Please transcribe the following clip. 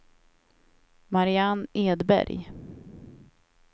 Marianne Edberg